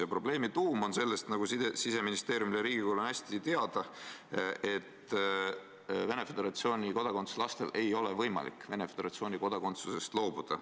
Ja probleemi tuum on selles, nagu Siseministeeriumile ja Riigikogule on hästi teada, et Venemaa Föderatsiooni kodakondsusega lastel ei ole võimalik Venemaa Föderatsiooni kodakondsusest loobuda.